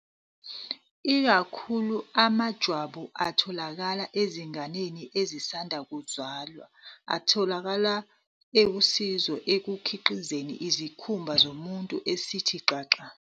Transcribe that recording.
Ikakhulu, amajwabu atholakala ezinganeni ezisanda kuzalwa atholakale ewusizo ekukhiqizeni isikhumba somuntu esithe xaxa.